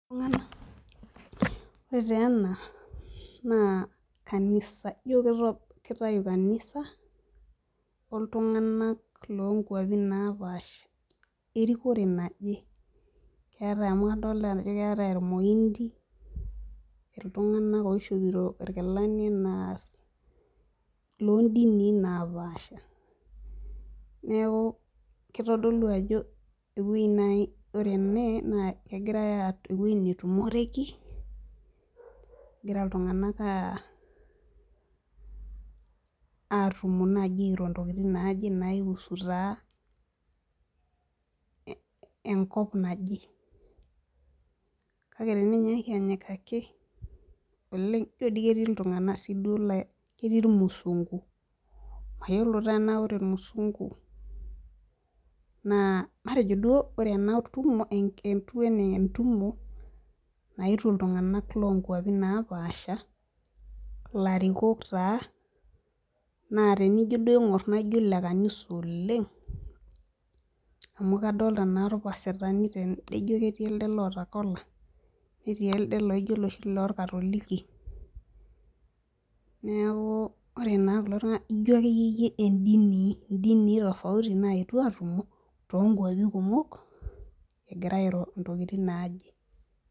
Ore taa ena naa naa kanisa ijo kito kitayu kanisa oltung'anak lonkuapi napaasha erikore naje keetae amu kadolita ajo keetae irmoindi iltung'anak oishopito irkilani naas londini napaasha neku kitodolu ajo ewueji naaji ore ene naa egirae ewueji netumoreki egira iltung'anak uh atumo naaji airo intokitin naaje naiusu taa eh enkop naje kake teninyaaki anyikaki oleng ijio dii ketii iltung'anak sii duo laa ketii irmusungu mayiolo taa enaa ore irmusungu naa matejo duo ore ena tumo etiu anaa entumo naetuo iltung'anak lonkuapi napaasha ilarikok taa naa tenijio duo aing'orr naijio ile kanisa oleng amu kadolta naa irpasitani tende ijio ketii elde loota kola netii ele laijio oloshi lorkatoliki neaku ore naa kulo tung'anak ijio akeyie yie endini indinii tofauti nayetuo tonkuapi kumok egira airo intokitin naje.